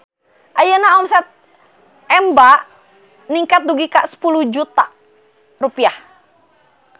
Ayeuna omset Emba ningkat dugi ka 10 juta rupiah